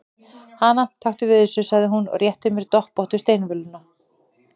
Hana, taktu við þessu, sagði hún og rétti mér doppóttu steinvöluna.